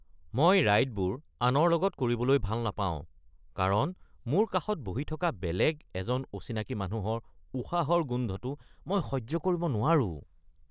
মই ৰাইডবোৰ আনৰ লগত কৰিবলৈ ভাল নাপাওঁ কাৰণ মোৰ কাষত বহি থকা বেলেগ এজন অচিনাকি মানুহৰ উশাহৰ গোন্ধটো মই সহ্য কৰিব নোৱাৰোঁ।